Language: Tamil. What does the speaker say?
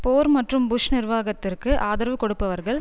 போர் மற்றும் புஷ் நிர்வாகத்திற்கு ஆதரவு கொடுப்பவர்கள்